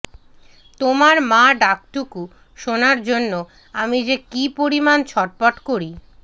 তোর মা ডাকটুকু শোনার জন্য আমি যে কি পরিমান ছটফট করি